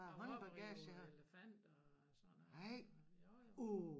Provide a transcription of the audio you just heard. Og op og ride elefanter og sådan noget jo jo